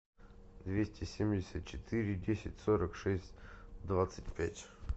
двести семьдесят четыре десять сорок шесть двадцать пять